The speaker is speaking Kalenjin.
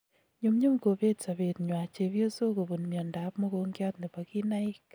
Nyumnyum kobeet sabeet nywa chebyosok kobun miondo ab mogongiat nebo kinaik